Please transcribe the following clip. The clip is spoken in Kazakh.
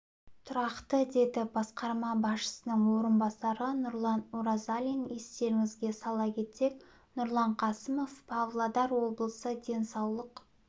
тұрақты деді басқарма басшысының орынбасары нұрлан оразалин естеріңізге сала кетсек нұрлан қасымов павлодар облысы денсаулық